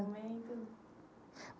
Momento